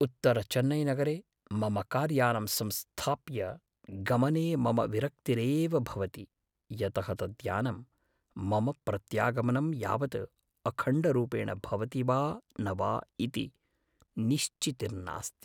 उत्तरचेन्नैनगरे मम कार्यानम् संस्थाप्य गमने मम विरक्तिरेव भवति, यतः तद्यानं मम प्रत्यागमनं यावत् अखण्डरूपेण भवति वा न वा इति निश्चितिर्नास्ति।